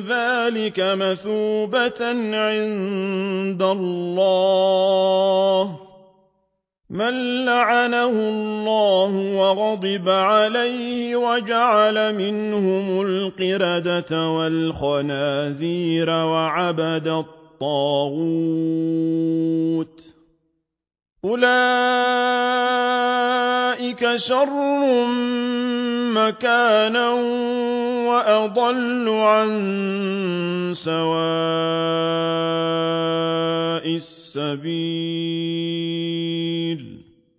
ذَٰلِكَ مَثُوبَةً عِندَ اللَّهِ ۚ مَن لَّعَنَهُ اللَّهُ وَغَضِبَ عَلَيْهِ وَجَعَلَ مِنْهُمُ الْقِرَدَةَ وَالْخَنَازِيرَ وَعَبَدَ الطَّاغُوتَ ۚ أُولَٰئِكَ شَرٌّ مَّكَانًا وَأَضَلُّ عَن سَوَاءِ السَّبِيلِ